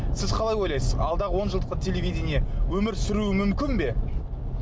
сіз қалай ойлайсыз алдағы он жылдықта телевидение өмір сүруі мүмкін бе